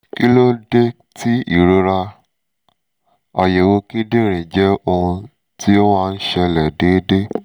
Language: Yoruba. kí ló dé tí ìrora? àyẹ̀wò kíndìnrín jẹ́ ohun tí ó máa ń ṣẹlẹ̀ déédéé